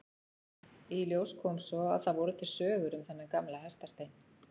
Í ljós kom svo að það voru til sögur um þennan gamla hestastein.